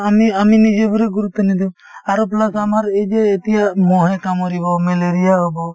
আমি আমি নিজেৰ হলেও গুৰুত্ব নিদিও আৰু plus আমাৰ এই যে এতিয়া মহে কামুৰিব malaria হব